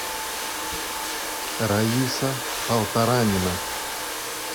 раиса полторанина